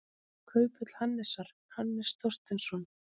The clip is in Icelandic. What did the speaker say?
Kauphöll Hannesar, Hannes Þorsteinsson.